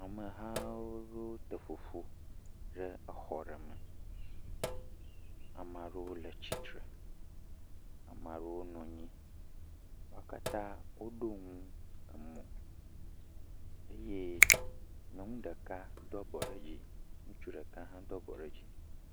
Amehawo te ƒoƒu ɖe exɔ ɖe me, amea ɖewo le tsitre, amea ɖewo nɔ anyi. Wo katã woɖo nu mo eye nyɔnu ɖeka do abɔ ɖe dzi, ŋutsu ɖeka hã do abɔ ɖe dzi.